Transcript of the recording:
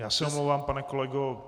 Já se omlouvám, pane kolego.